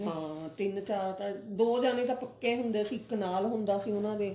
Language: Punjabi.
ਹਾਂ ਤਿੰਨ ਚਾਰ ਤਾਂ ਦੋ ਜਾਣੇ ਤਾਂ ਪੱਕੇ ਹੁੰਦੇ ਸੀ ਇੱਕ ਨਾਲ ਹੁੰਦਾ ਸੀ ਉਹਨਾ ਦੇ